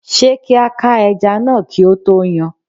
Ṣé kí a ká ẹja náà kí a tó yán?